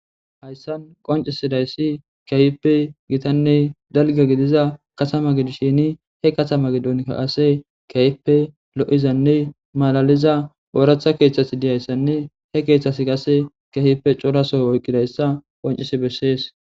Haysan qoncisidayssi keehippe gitanne dalgga gidiza katama gidishin he katama gidon qase keehippe lo'izanne malaliza ooratha keethati dizayssanne he keethati qase keehippe cora soho oykidayssa qoncissi besees.